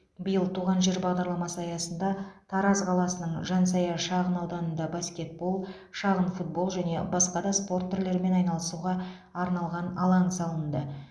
биыл туған жер бағдарламасы аясында тараз қаласының жансая шағын ауданында баскетбол шағын футбол және басқа да спорт түрлерімен айналысуға арналған алаң салынды